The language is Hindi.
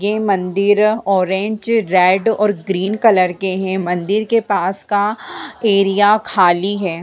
ये मंदिर ऑरेंज रेड और ग्रीन कलर के है मंदिर के पास का एरिया खाली है।